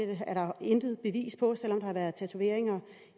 det er der intet bevis for selv om der har været tatoveringer